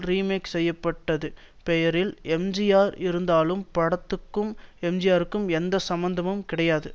remake செய்ய பட்டது பெயரில் எம்ஜிஆர் இருந்தாலும் படத்துக்கும் எம்ஜிஆருக்கும் எந்த சம்பந்தமும் கிடையாது